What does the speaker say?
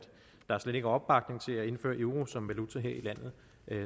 der slet ikke er opbakning til at indføre euroen som valuta her i landet